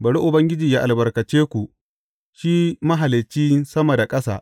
Bari Ubangiji yă albarkace ku, shi Mahalicci sama da ƙasa.